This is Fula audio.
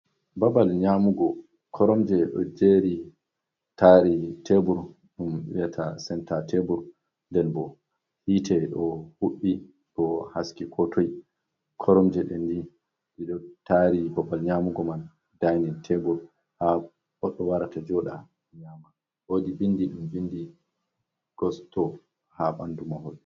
Babal nyamugo. Koromje ɗo jeri, taari tebur, ɗum wiyata senta tebur. Nden bo hite ɗo huɓɓi, ɗo haski ko toi. Koromje ɗen ni ɗi ɗo taari babal nyamugo man, dainin tebur. Ha goɗɗo warata jooɗa nyaama. Woodi bindi ɗum vindi "gosto" ha ɓandu mahol.